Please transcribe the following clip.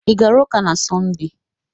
Ị gara ụka n'Sọnde?